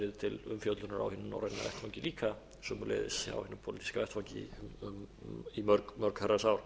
til umfjöllunar á hinum norræna vettvangi líka og sömuleiðis á hinum pólitíska vettvangi í mörg herrans ár